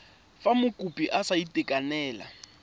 fa mokopi a sa itekanela